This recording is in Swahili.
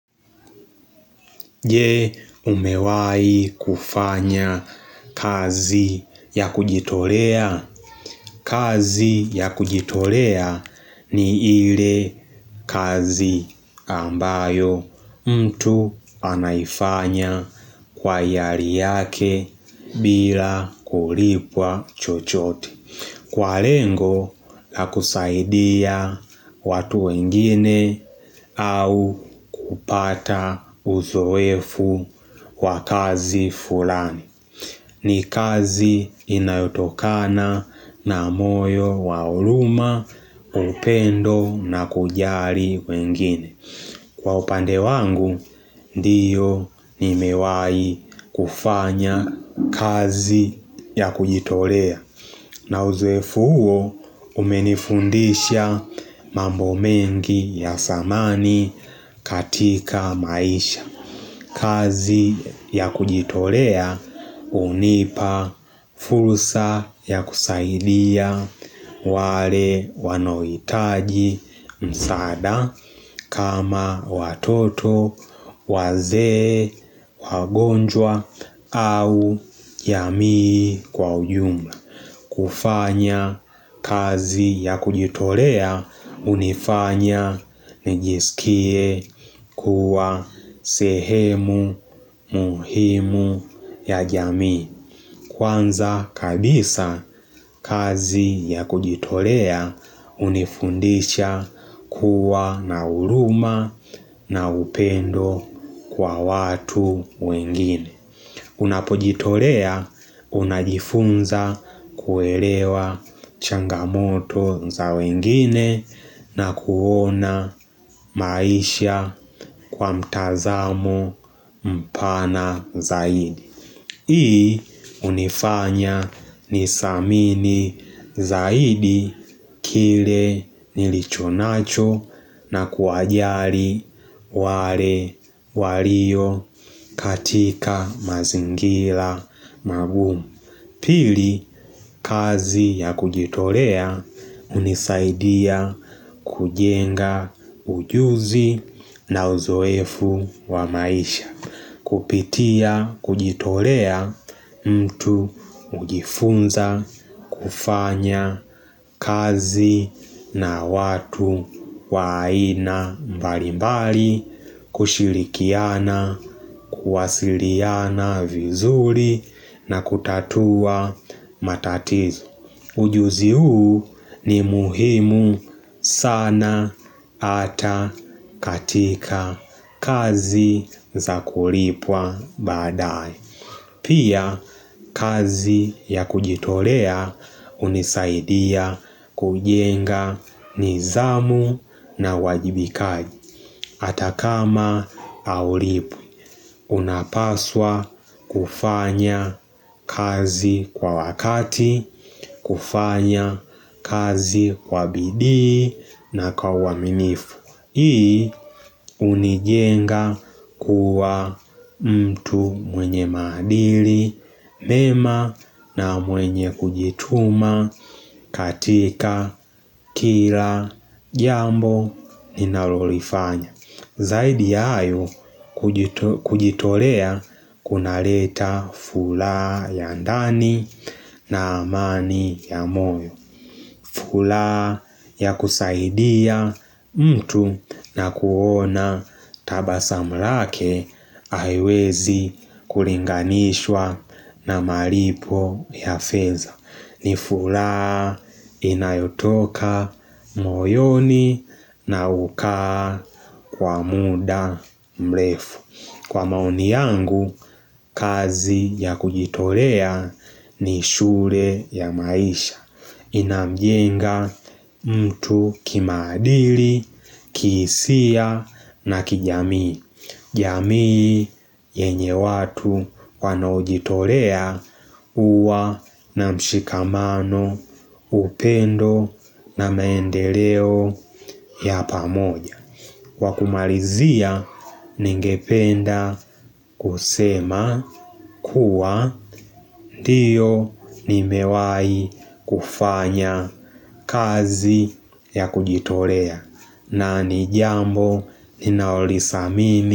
Je umewai kufanya kazi ya kujitolea, kazi ya kujitolea ni ile kazi ambayo mtu anaifanya kwa ihari yake bila kulipwa chochote. Kwa lengo la kusaidia watu wengine au kupata uzowefu wa kazi fulani. Ni kazi inayotokana na moyo wa huruma, upendo na kujali wengine. Kwa upande wangu, ndiyo ni mewai kufanya kazi ya kujitolea. Na uzoefu huo umenifundisha mambo mengi ya zamani katika maisha. Kazi ya kujitolea unipa fursa ya kusailia wale wanohitaji msaada kama watoto, wazee, wagonjwa au yamii kwa ujumla. Kufanya kazi ya kujitolea hunifanya nijisikie kuwa sehemu muhimu ya jamii Kwanza kabisa kazi ya kujitolea unifundisha kuwa na huruma na upendo kwa watu wengine Unapojitolea unajifunza kuelewa changamoto za wengine na kuona maisha kwa mtazamo mpana zaidi. Hii unifanya nisamini zaidi kile nilicho nacho na kuwajali wale walio katika mazingira magumu. Pili kazi ya kujitolea hunisaidia kujenga ujuzi na uzoefu wa maisha. Kupitia, kujitolea mtu hujifunza, kufanya kazi na watu wa aina mbali mbali, kushirikiana, kuwasiliana vizuri na kutatua matatizo. Pia kazi ya kujitolea unisaidia kujenga nizamu na wajibikaji hata kama haulipwi unapaswa kufanya kazi kwa wakati, kufanya kazi kwa bidii na kwa uaminifu Hii unijenga kuwa mtu mwenye maandili, mema na mwenye kujituma katika kila jambo ninalolifanya Zaidi hayo kujitolea kuna leta furaha ya ndani na amani ya moyo furaha ya kusaidia mtu na kuona tabasamlake haiwezi kulinganishwa na malipo ya feza ni furaha inayotoka moyoni na hukaa kwa muda mrefu Kwa maoni yangu, kazi ya kujitolea ni shule ya maisha Inamjenga mtu kimaadili, kihisia na kijamii jamii yenye watu wanojitolea huwa na mshikamano upendo na maendeleo ya pamoja kwakumalizia ningependa kusema kuwa ndiyo nimewai kufanya kazi ya kujitolea na ni jambo ninaolisa mini.